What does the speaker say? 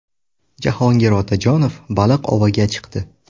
Jahongir Otajonov baliq oviga chiqdi.